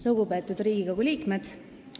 Lugupeetud Riigikogu liikmed!